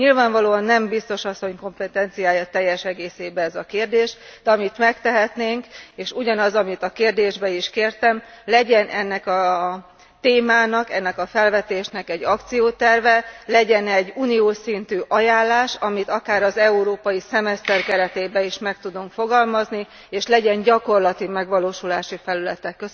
Nyilvánvalóan nem Biztos Asszony kompetenciája teljes egészében ez a kérdés, de amit megtehetnénk, és ugyanaz, amit a kérdésben is kértem legyen ennek a témának, ennek a felvetésnek egy akcióterve, legyen egy uniós szintű ajánlás, amit akár az európai szemeszter keretében is meg tudunk fogalmazni, és legyen gyakorlati megvalósulási felülete.